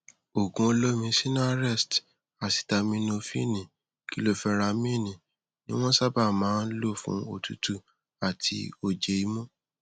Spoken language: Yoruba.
òògùn olómi sinarest asitaminofíìnì kiloferamíìnì ní wọn sábà máa ń lò fún òtútù àti ojé imú